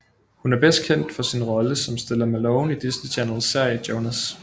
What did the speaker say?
Hun er bedst kendt for sin rolle som Stella Malone i Disney Channels serie JONAS